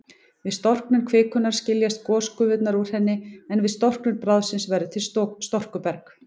Við storknun kvikunnar skiljast gosgufurnar úr henni, en við storknun bráðsins verður til storkuberg.